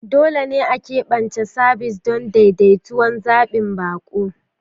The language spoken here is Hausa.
Dole ne a keɓance sabis don daidaitattun zaɓin baƙo.